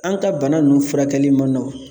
An ka bana ninnu furakɛli ma nɔgɔn